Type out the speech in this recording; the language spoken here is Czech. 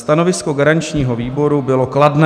Stanovisko garančního výboru bylo kladné.